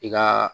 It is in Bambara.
I ka